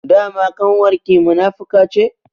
Dama ƙanwar ki munafuka ce?